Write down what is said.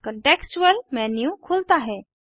contextual menu खुलता है